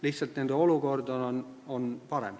Lihtsalt nende olukord on parem.